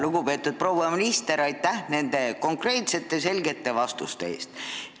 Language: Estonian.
Lugupeetud proua minister, aitäh nende konkreetsete, selgete vastuste eest!